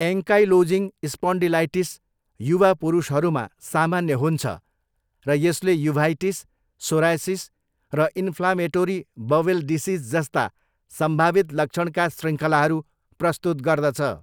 Ankylosing spondylitis युवा पुरुषहरूमा सामान्य हुन्छ र यसले युभाइटिस, सोरायसिस र इन्फ्लामेटोरी बवेल डिजिस जस्ता सम्भावित लक्षणका शृङ्खलाहरू प्रस्तुत गर्दछ।